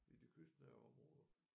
I de kystnære områder